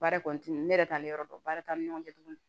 Baara kɔntini ne yɛrɛ t'ale yɔrɔ dɔn baara t'an ni ɲɔgɔn cɛ tuguni